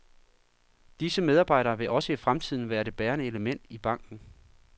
Disse medarbejdere vil også i fremtiden være det bærende element i banken.